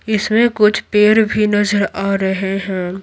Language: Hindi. इसमें कुछ पेड़ भी नजर आ रहे है।